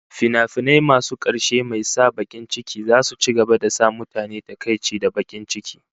Tragic fims will continue to make people sad